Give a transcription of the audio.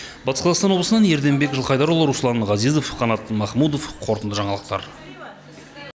батыс қазақстан облысынан ерденбек жылқайдарұлы руслан ғазезов қанат махмутов қорытынды жаңалықтар